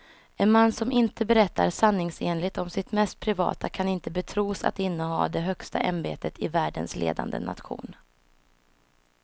En man som inte berättar sanningsenligt om sitt mest privata kan inte betros att inneha det högsta ämbetet i världens ledande nation.